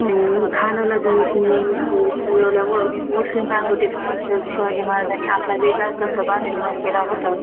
अं खानाला धुळीत मिळ मिळवल्यावर अं मुस्लीम राजवटीसमोर, शिवाजी महाराजांनी आपला वेगळाच दबदबा निर्माण केला होता.